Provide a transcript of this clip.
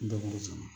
Dɛmɛ sɔrɔ